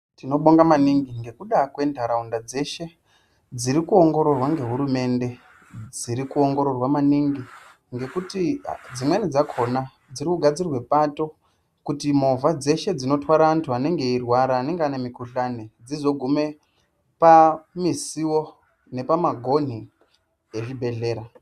Tinobonga maningi ngekuda kwentaraunda dzeshe dziri kuongororwa ngehurumende. Dziri kuongororwa maningi ngekuti dzimweni dzakhona dziri kugadzirwa pato kuti movha dzeshe dzinotwara antu anenge eirwara, anenge ane mukhuhlani dzizogume pamisiwo nepamagonhi ezvibhedhlera.